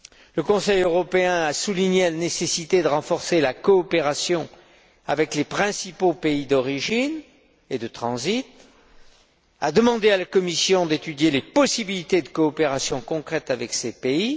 Le Conseil européen a souligné la nécessité de renforcer la coopération avec les principaux pays d'origine et de transit et a demandé à la Commission d'étudier les possibilités de coopération concrètes avec ces pays.